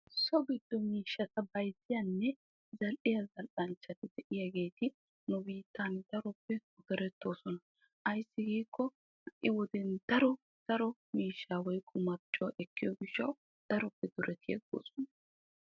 So giddo miishshata bayzziyaanne zal"iyaa zal"anchchati de'iyaageti nu biittan daroppe durettoosona. ayssi giikko ha'i wodiyaan daro daro miishshaa marccuwaa ekkiyoo giishshawu daroppe durettoosona.